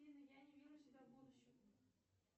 афина я не вижу себя в будущем